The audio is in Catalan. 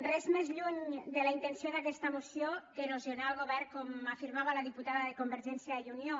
res més lluny de la intenció d’aquesta moció que erosionar el govern com afirmava la diputada de convergència i unió